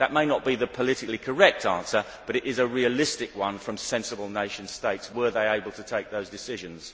That may not be the politically correct answer, but it is a realistic one from sensible nation states, were they able to take those decisions.